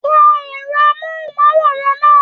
Tán ẹrọ amohunmaworan náà!